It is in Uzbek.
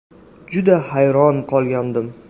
Juda hayron qolgandim.